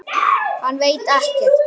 Hann veit ekkert. þú skilur.